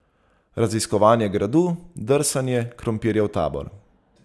Raziskovanje Gradu, drsanje, krompirjev tabor...